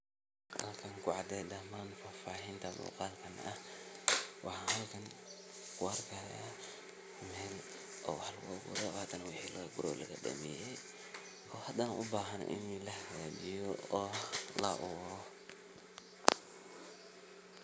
Halkan ku cadee dhaamman faafahiinta muuqalkan Waxan halkan kuarkaayaa meel oo wax lagu abuuray oo hadana waxii lagaguray oo lagadhameyee oo hadana u bahaan inii lahagajiyo oo la abuuro.